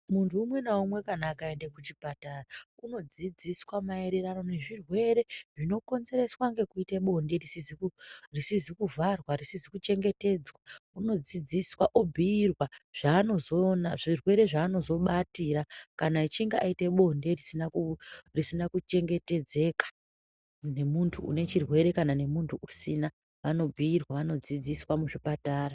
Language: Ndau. Munhu umwe naumwe akaende kuchipatara unodzidziswa maererano nezvirwere zvinokonzereswa ngekuita bonde risizi kuvharwa risizi kuchengetedzwa unodzidziswa obhuyirwa zvirwere zvaanozobatira kana echinge aita bonde risina kuchengetedzeka nemuntu unechirwere kana nemunhu usina vanobhuyirwa , vankdzidziswa muzvipatara.